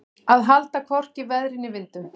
Að halda hvorki veðri né vindi